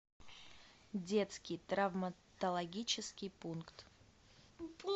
детский травматологический пункт